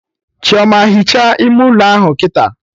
Chioma, hichaa ime ụlọ ahụ kịta!